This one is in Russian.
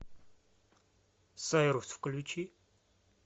сайрус включи